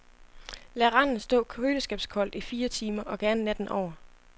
Lad randen stå køleskabskoldt i fire timer og gerne natten over.